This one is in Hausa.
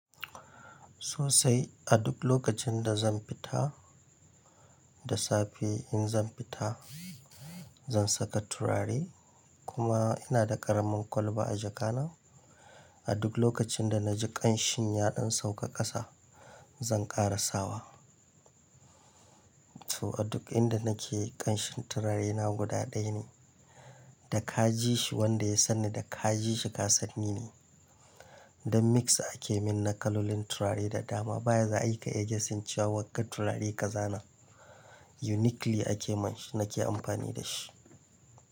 Sosai. A duk lokacin da zan fita da safe, in zan fita zan saka turare kuma ina da ƙaramin kwalba a jaka na. A duk lokacin da na ji ƙanshin yaɗin sauƙa ƙasa zan ƙara sawa. To a duk inda nake ƙanshin turarena guda ɗaya ne da ka ji shi wanda ya sanni, da ka ji shi kasan nine. Don mix ake min na kalolin turare da dama. Bayan da za ayi ka iya guessing cewa wanga turare ka zana. Uniquely ake min shi, nake amfani da shi.